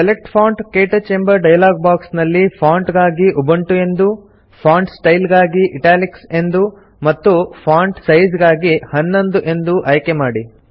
select font - ಕ್ಟಚ್ ಎಂಬ dialog box ನಲ್ಲಿ ಫಾಂಟ್ ಗಾಗಿ ಉಬುಂಟು ಎಂದೂ ಫಾಂಟ್ ಸ್ಟೈಲ್ ಗಾಗಿ ಇಟಾಲಿಕ್ಸ್ ಎಂದೂ ಮತ್ತು ಫಾಂಟ್ ಸೈಜ್ ಗಾಗಿ 11 ಎಂದೂ ಆಯ್ಕೆ ಮಾಡಿ